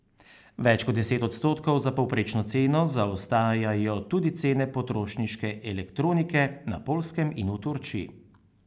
Več kot deset odstotkov za povprečno ceno zaostajajo tudi cene potrošniške elektronike na Poljskem in v Turčiji.